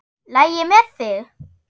LAGI MEÐ ÞIG?